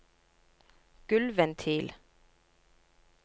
gulvventil